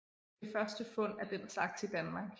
Det første fund af den slags i Danmark